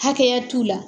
Hakɛya t'u la